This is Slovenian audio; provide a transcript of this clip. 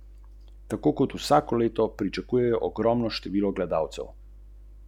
Vlada je na ponedeljkovi dopisni seji spremenila trošarine za energente.